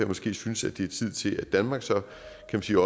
måske synes at det er tid til at danmark så